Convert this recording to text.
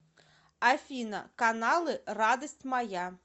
афина каналы радость моя